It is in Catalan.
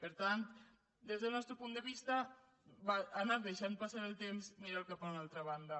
per tant des del nostre punt de vista anar deixant passar el temps mirar cap a una altra banda